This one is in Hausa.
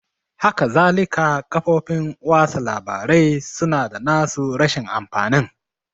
Hakazalika kafofin watsa labarai su na da na su rashin amfanin